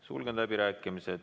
Sulgen läbirääkimised.